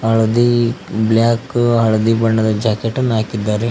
ಹಳದಿ ಬ್ಲಾಕ್ ಹಳದಿ ಬಣ್ಣದ ಜಾಕೆಟ್ ಅನ್ನ ಹಾಕಿದ್ದಾರೆ.